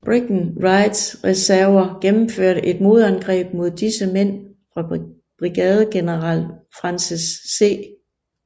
Breckinridges reserver gennemførte et modangreb mod disse mænd fra brigadegeneral Francis C